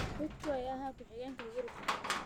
Ruto ayaa ahaa ku xigeenka Uhuru Kenyatta.